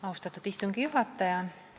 Austatud istungi juhataja!